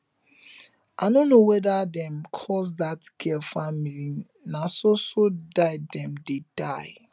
i no know whether dem curse dat girl family na so so die dem dey die